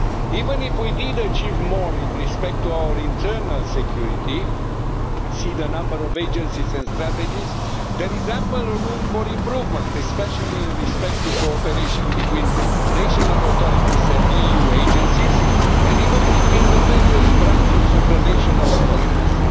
Even if we did achieve more in respect of our internal security see the number of agencies and strategies there is ample room for improvement, especially in respect of cooperation between national authorities and the EU agencies and even between the various branches of the national authorities.